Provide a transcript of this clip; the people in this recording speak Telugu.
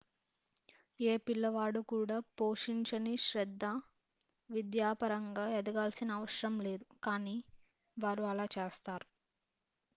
ఏ పిల్లవాడు కూడా పోషించని శ్రద్ధ విద్యాపరంగా ఎదగాల్సిన అవసరం లేదు కానీ వారు అలా చేస్తారు